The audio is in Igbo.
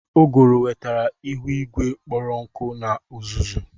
Uguru wetara ihu igwe kpọrọ nkụ na uzuzu.